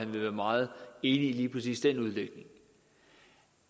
vil være meget enig i lige præcis den udlægning